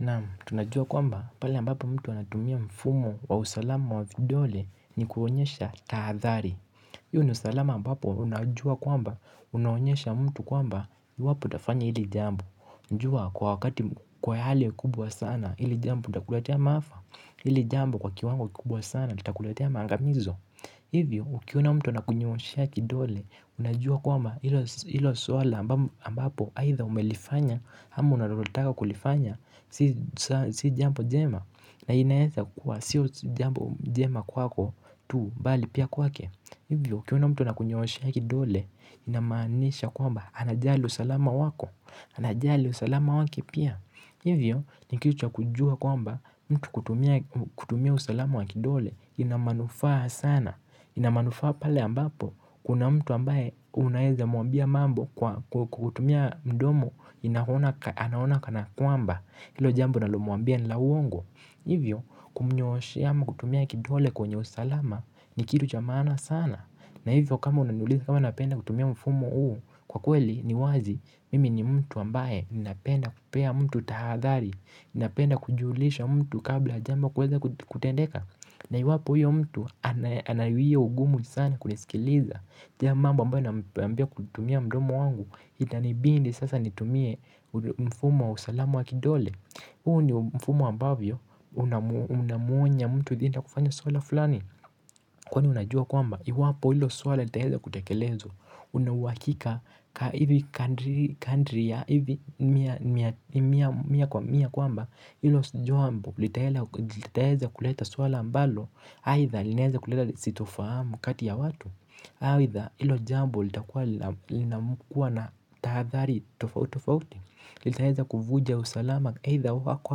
Naam tunajua kwamba pale ambapo mtu anatumia mfumo wa usalama wa vidole ni kuonyesha tahadhari. Hio ni usalama ambapo unajua kwamba unaonyesha mtu kwamba iwapoutafanya hili jambo. Jua kwa wakati kwa hali kubwa sana hili jambo utakuletea maafa. Hili jambu kwa kiwango kikubwa sana kitakuletea maangamizo. Hivyo, ukiona mtu anakunyoosha ya kidole, unajua kwamba hilo swala ambapo aitha umelifanya, ama unalotaka kulifanya, si jambo jema, na inaeza kwa sio jambo jema kwako tu bali pia kwake. Hivyo, ukiona mtu anakunyooshea kidole, inamaanisha kwamba, anajali usalama wako, anajali usalama wake pia. Hivyo, ni kitu cha kujua kwamba, mtu kutumia usalama wa kidole, ina manufaa sana. Ina manufaa pale ambapo, kuna mtu ambaye unaeza muambia mambo kwa kutumia mdomo, anaona kana kwamba, hilo jambu unalomuambia ni la uongo. Hivyo kumnyooshea ama kutumia kidole kwenye usalama ni kitu cha maana sana na hivyo kama unanuliza kama napenda kutumia mfumo huu. Kwa kweli ni wazi mimi ni mtu ambaye ninapenda kupea mtu tahadhari. Ninapenda kujulisha mtu kabla ya jambo kuweza kutendeka na iwapo huyo mtu anayuia ugumu sana kunisikiliza mambo ambayo naambia kutumia mdomo wangu. Itanibindi sasa nitumie mfumo wa usalama wa kidole. Huu ni mfumo ambavyo una unamuonya mtu dhidi ya kufanya swala fulani kwani unajua kwamba iwapo hilo swali litaeza kutakelezwa. Unauhakika hivi kadri ya hivi mia kwamba hilo jombo litaeza kuleta swala ambalo aitha linaeza kuleta sitofahamu kati ya watu aitha hilo jambo litakuwa na tahadhari tofauti tofauti linaeza kuvuja usalama eitha wako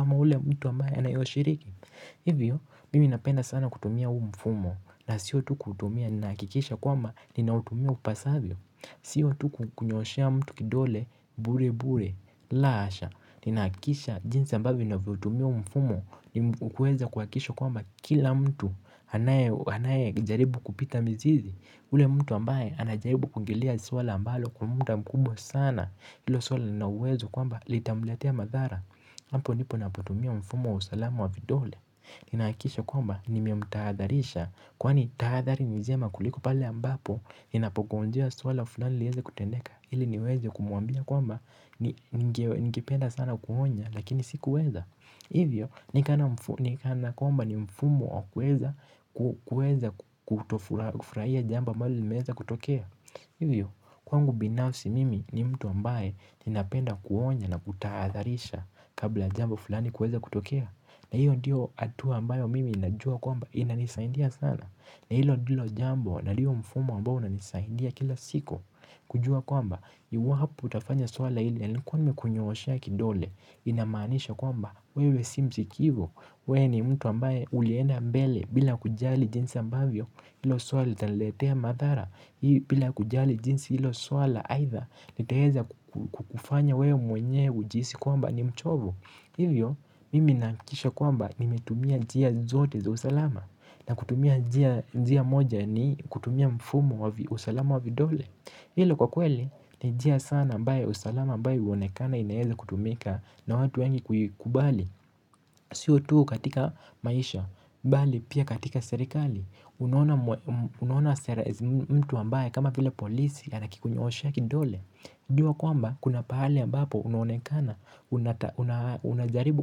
ama ule mtu ambaye anayoshiriki. Hivyo, mimi napenda sana kutumia huu mfumo na sio tu kutumia nahakikisha kwamba ninautumia upasavyo. Sio tu kunyooshea mtu kidole, burebure, la hasha. Ninahakikisha jinsi ambavyo navyotumia huu mfumo. Ni kuweza kuhakikisha kwamba kila mtu anaye anaye jaribu kupita mizizi. Ule mtu ambaye anajaribu kuongelea swala ambalo kwa muda mkubwa sana hilo swala lina uwezo kwamba litamletea madhara hapo ndipo napotumia mfumo wa usalamu wa vidole. Ninahakikisha kwamba nimemtahadharisha kwani tahadhari ni njema kuliko pale ambapo ninapogonjea swala fulani lieze kutendeka ili niweze kumuambia kwamba ningependa sana kuonya lakini sikuweza. Hivyo ni kana kwamba ni mfumo wa kuweza kutofurahia jambo ambalo limeweza kutokea. Hivyo, kwangu binafsi mimi ni mtu ambaye ninapenda kuonya na kutahadharisha kabla jambo fulani kuweza kutokea na hiyo ndiyo hatua ambayo mimi najua kwamba inanisaidia sana na hilo ndilo jambo na hiyo mfumo ambao unanisaidia kila siku. Kujua kwamba, iwapo utafanya swala hili yalikuwa nmekunyooshea kidole. Inamanisha kwamba, wewe si msikivu. Wee ni mtu ambaye ulienda mbele bila kujali jinsi ambavyo hilo swali litaniletea madhara. Hii bila kujali jinsi hilo swala aidha nitaeza kufanya wewe mwenye ujiisi kwamba ni mchovu. Hivyo mimi nahakisha kwamba nimetumia njia zote za usalama na kutumia njia moja ni kutumia mfumo wa usalama wa vidole. Hilo kwa kweli ni njia sana ambaye usalama ambaye huonekana inaeza kutumika na watu wengi kuikubali. Siyo tu katika maisha, bali pia katika serikali. Unaona sera mtu ambaye kama vile polisi ana akikunyooshea kidole. Jua kwamba kuna pahali ambapo unonekana una unajaribu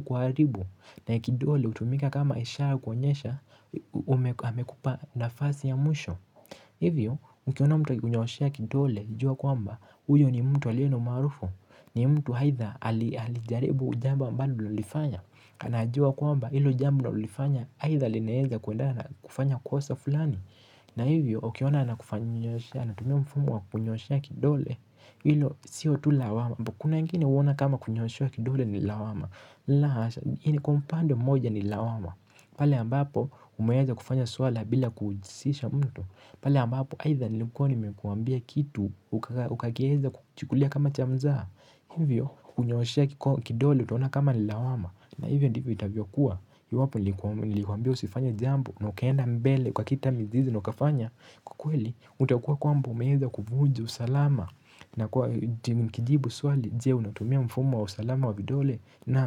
kuharibu na kidole hutumika kama ishara kuonyesha amekupa nafasi ya mwisho. Hivyo mkiona mtu akikunyooshea kidole jua kwamba uyo ni mtu aliye na maarufu. Ni mtu aidha alijaribu jambo ambalo ulifanya. Anajua kwamba hilo jambo unalolifanya aidha linaeza kuendana kufanya kosa fulani na hivyo, ukiona anakufanyia nyooshea anatumia mfumo wa kukunyooshea kidole. Hilo, sio tu lawama kuna wengine huona kama kunyooshewa kidole ni lawama. La, hasha kwa upande moja ni lawama. Pale ambapo, umeweza kufanya swala bila kujisisha mtu pale ambapo, aidha nilikuwa nimekuambia kituuka. Ukakieza kuchukulia kama cha mzaha. Hivyo, kunyooshea kidole, utaona kama ni lawama na hivyo ndivyo itavyokuwa, iwapo nilikuambia usifanye jambo na ukaenda mbele ukakita mizizi na ukafanya kwa kweli, utakua kwamba umeweza kuvunja usalama na kwa nikijibu swali, je unatumia mfumo wa usalama wa vidole naam.